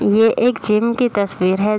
ये एक जिम की तस्वीर है।